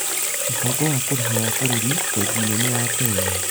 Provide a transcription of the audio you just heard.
Mũbango wa Kũrĩha wa Bũrũri | Bengi nene ya Kenya: